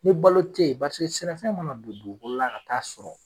Ni balo tɛ yen sɛnɛfɛn mana don dugukolo la ka ta'a sɔrɔ